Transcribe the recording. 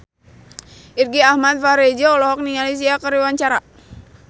Irgi Ahmad Fahrezi olohok ningali Sia keur diwawancara